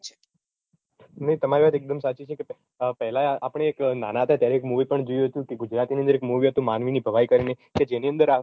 તમારી વાત એકદમ સાચી છે કે પેહલાં આપણે એક નાનાં હતાં ત્યારે એક movie પણ જોયું હતું કે ગુજરાતીની અંદર એક movie હતું માનવીની ભવાઈ કરીને કે જેની અંદર